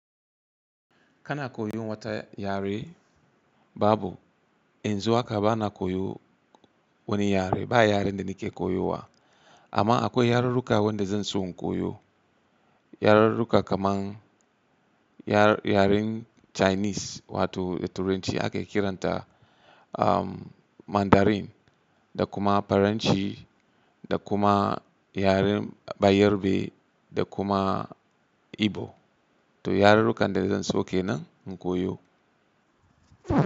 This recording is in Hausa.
Kana koyon wata yare? Babu, yanzu haka bana koyo wani yare. Ba yaren da nake koyowa. Amma akwai yarurruka wanda zan so in koyo. Yarurruka kamar yar-yaren Chinese wato da Turanci ake kiranta Mandarin, da kuma Faranci, da kuma yaren Bayarbe, da kuma Igbo. To yarurrukan da zan so ke nan in koyo.